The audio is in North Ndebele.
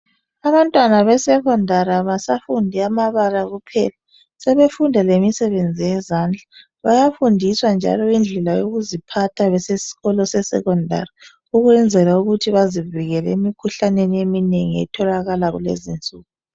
abantwana be secondary abasafundi amabala kuphela sebefunda lemisebenzi yezandla bayafundiswa njalo indlela yokuziphatha besesikolo se secondary ukwenzela ukuthi bazivikele emikhuhlaneni eminengi etholakala kulezinsuku